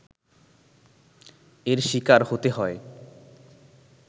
এর শিকার হতে হয়